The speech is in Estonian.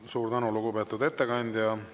Suur tänu, lugupeetud ettekandja!